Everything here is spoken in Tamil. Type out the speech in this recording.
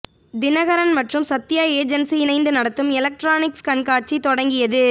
தினகரன் மற்றும் சத்யா ஏஜென்சி இணைந்து நடத்தும் எலக்ட்ரானிக்ஸ் கண்காட்சி தொடங்கியது